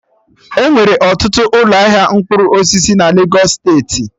Enwere ọtụtụ ụlọ ahịa mkpụrụ osisi na Legos steeti